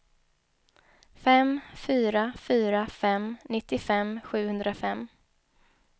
fem fyra fyra fem nittiofem sjuhundrafem